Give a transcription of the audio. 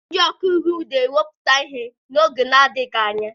Ndị ọka iwu ga-ewepụta ihe n'oge adịghị anya